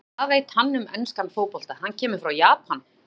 Hvað veit hann um enskan fótbolta, hann kemur frá Japan?